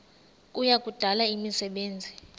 kuya kudala imisebenzi